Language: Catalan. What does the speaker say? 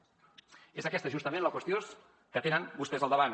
és aquesta justament la qüestió que tenen vostès al davant